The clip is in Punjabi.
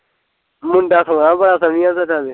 ਮੁੰਡਾ ਸੋਹਣਾ ਭਲਾ ਸੱਮੀ ਆ ਦਾ ਕਿ